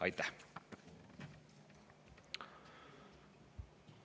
Aitäh!